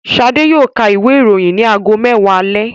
Ṣadé yóò ka ìwé-ìròyìn ní ago mẹ́wàá alẹ́.